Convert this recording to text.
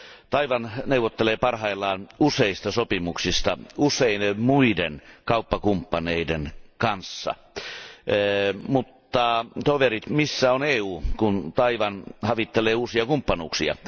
Taiwan neuvottelee parhaillaan useista sopimuksista useiden muiden kauppakumppaneiden kanssa, mutta toverit, missä on EU, kun Taiwan havittelee uusia kumppanuuksia?